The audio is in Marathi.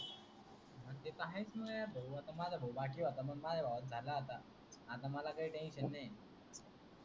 ह ते त आहेच न यार भाऊ, आता माझ भाऊ बाकी होता पण मझ्या भवाच झाला आता, आता मला काही टेन्शन नाही आहे .